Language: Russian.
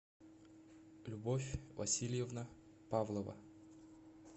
любовь васильевна павлова